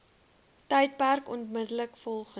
tydperk onmiddellik volgend